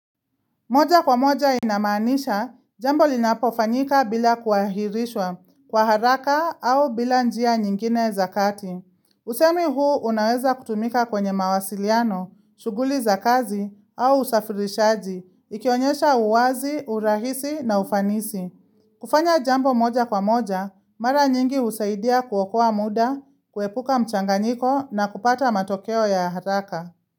Moja kwa moja inamanisha, jambo linapofanyika bila kuahirishwa kwa haraka au bila njia nyingine zakati. Usemi huu unaweza kutumika kwenye mawasiliano, shuguli za kazi au usafirishaji, ikionyesha uwazi, urahisi na ufanisi. Kufanya jambo moja kwa moja, mara nyingi usaidia kuwokoa muda, kuepuka mchanganyiko na kupata matokeo ya haraka.